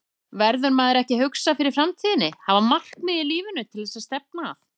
Verður maður ekki að hugsa fyrir framtíðinni, hafa markmið í lífinu til að stefna að?